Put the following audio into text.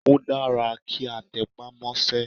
Ó dára kí a tẹpá mọ́sẹ́.